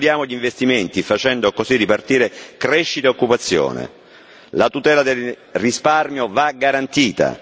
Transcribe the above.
Stimoliamo gli investimenti, facendo così ripartire crescita ed occupazione. La tutela del risparmio va garantita.